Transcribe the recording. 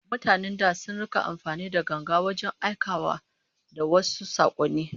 Mutanen da can sun rika amfani da ganga wajen aikawa da wasu sakonni